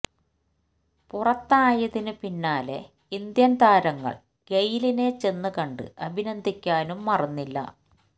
പുറത്തായതിന് പിന്നാലെ ഇന്ത്യന് താരങ്ങള് ഗെയ്ലിനെ ചെന്ന് കണ്ട് അഭിനന്ദിക്കാനും മറന്നില്ല